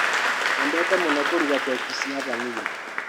Nyendete mũno kũruga keki cia vanilla.